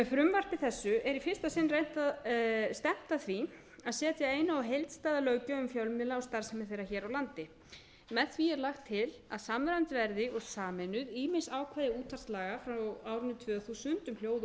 frumvarpi þessu er í fyrsta sinn stefnt að því að setja eina og heildstæða löggjöf um fjölmiðla og starfsemi þeirra hér á landi með því er lagt til að samræmd verði og sameinuð ýmis ákvæði útvarpslaga frá árinu tvö þúsund um hljóð og